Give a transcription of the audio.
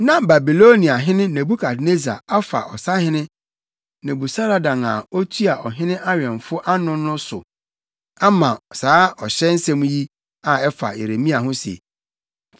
Na Babiloniahene Nebukadnessar afa ɔsahene Nebusaradan a otua ɔhene awɛmfo ano no so ama saa ɔhyɛ nsɛm yi a ɛfa Yeremia ho se,